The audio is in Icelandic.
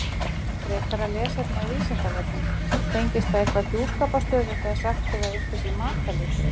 Frekara lesefni á Vísindavefnum: Tengist það eitthvað hjúskaparstöðu þegar sagt er að einhver sé makalaus?